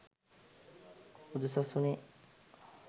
බුදු සසුනේ